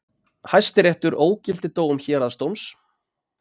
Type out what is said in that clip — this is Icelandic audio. Hæstiréttur ógilti dóm héraðsdóms